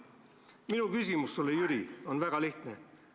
" Minu küsimus sulle, Jüri, on väga lihtne.